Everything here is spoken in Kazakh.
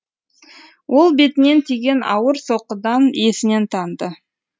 ол бетінен тиген ауыр соққыдан есінен танды